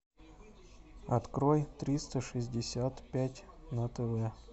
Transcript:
открой триста шестьдесят пять на тв